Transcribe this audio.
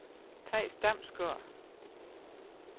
Theis Damsgaard